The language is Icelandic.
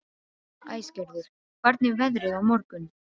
Æsgerður, hvernig er veðrið á morgun?